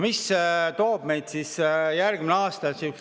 Mida toob meile järgmine aasta?